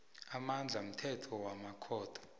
amandla mthetho wamakhotho